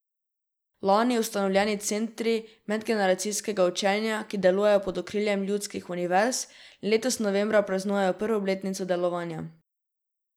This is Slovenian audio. Lani ustanovljeni Centri medgeneracijskega učenja, ki delujejo pod okriljem ljudskih univerz, letos novembra praznuje prvo obletnico delovanja.